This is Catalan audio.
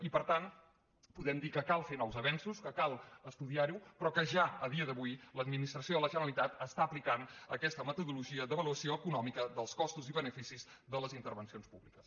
i per tant podem dir que cal fer nous avenços que cal estudiar ho però que ja a dia d’avui l’administració de la generalitat està aplicant aquesta metodologia d’avaluació econòmica dels costos i beneficis de les intervencions públiques